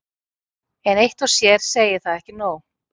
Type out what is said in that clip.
En eitt og sér segir það ekki nóg.